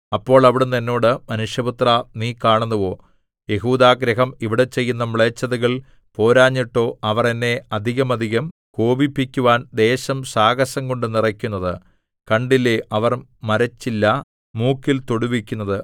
അപ്പോൾ അവിടുന്ന് എന്നോട് മനുഷ്യപുത്രാ നീ കാണുന്നുവോ യെഹൂദാഗൃഹം ഇവിടെ ചെയ്യുന്ന മ്ലേച്ഛതകൾ പോരാഞ്ഞിട്ടോ അവർ എന്നെ അധികമധികം കോപിപ്പിക്കുവാൻ ദേശം സാഹസംകൊണ്ടു നിറയ്ക്കുന്നത് കണ്ടില്ലേ അവർ മരച്ചില്ല മൂക്കിൽ തൊടുവിക്കുന്നത്